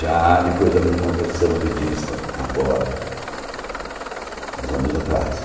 Já depois da minha conversão budista, agora, uns anos atrás.